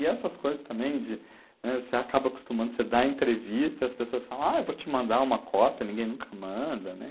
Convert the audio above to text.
E essas coisas também de, né, você acaba acostumando, você dá entrevista, as pessoas falam, ah, eu vou te mandar uma cópia, ninguém nunca manda, né?